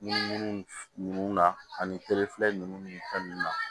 Munumunu na ani ninnu ni fɛn ninnu na